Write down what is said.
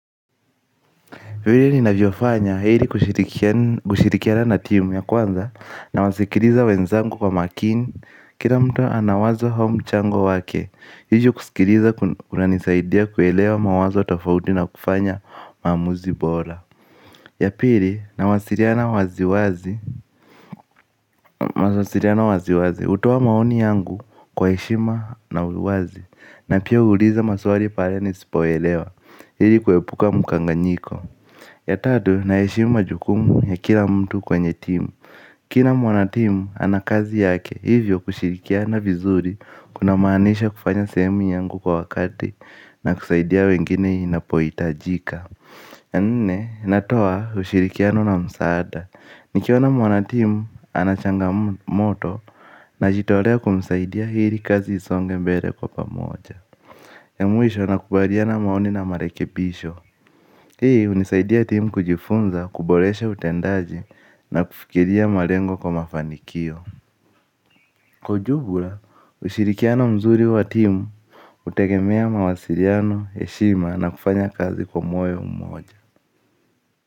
Vilei ninavyofanya ili kushirikiana na timu ya kwanza nawasikiliza wenzangu kwa makini. Kila mtu ana wazo au mchango wake. Hivi kusikiliza kunanisaidia kuelewa mawazo tofauti na kufanya mamuzi bora. Ya pili nawasiliana waziwazi hutoa maoni yangu kwa heshima na uwazi na pia huuliza maswali pale nisipoelewa ili kuepuka mkanganyiko. Ya tatu naheshimu majukumu ya kila mtu kwenye timu. Kila mwanatimu ana kazi yake hivyo kushirikiana vizuri kuna maanisha kufanya sehemu yangu kwa wakati na kusaidia wengine inapohi itajika. Ya nne natoa ushirikiano na msaada. Nikiona mwanatiimu ana changamoto najitolea kumisaidia ili kazi isonge mbele kwa pamoja. Ya mwisho nakubaliana maoni na marekebisho. Hii hunisaidia timu kujifunza, kuboreshe utendaji na kufikiria malengo kwa mafanikio. Kwa ujumla ushirikiano mzuri wa timu hutegemea mawasiliano, heshima, na kufanya kazi kwa moyo mmoja.